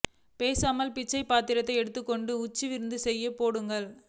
பேசாமல் பிச்சைப் பாத்திரத்தை எடுத்துக்கொண்டு உஞ்ச விருத்தி செய்யப் போங்கள்